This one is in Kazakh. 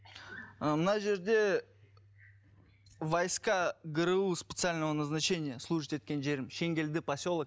ы мына жерде войска гру специального назначение служитб еткен жерім шенгелді поселок